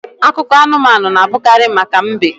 Akụkọ anumanu na abụkarị maka mbe